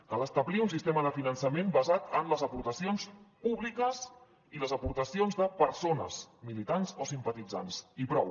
cal establir un sistema de finançament basat en les aportacions públiques i les aportacions de persones militants o simpatitzants i prou